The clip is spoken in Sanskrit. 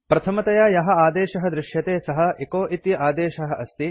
प्रथमतया यः आदेशः दृश्यते सः एचो इति आदेशः अस्ति